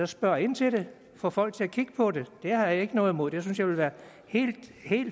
spørg ind til det få folk til at kigge på det det har jeg ikke noget imod og det synes jeg vil være helt